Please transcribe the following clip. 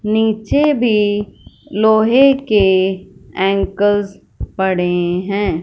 नीचे भी लोहे के एंकल्स पड़े हैं।